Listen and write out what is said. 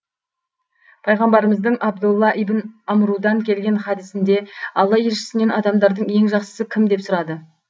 пайғамбарымыздың абдолла ибн амрудан келген хадісінде алла елшісінен адамдардың ең жақсысы кім деп сұрады